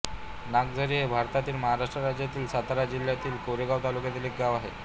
नागझरी हे भारतातील महाराष्ट्र राज्यातील सातारा जिल्ह्यातील कोरेगाव तालुक्यातील एक गाव आहे